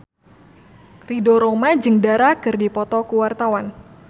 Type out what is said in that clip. Ridho Roma jeung Dara keur dipoto ku wartawan